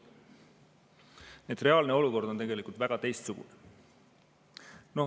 Nii et reaalne olukord on tegelikult väga teistsugune.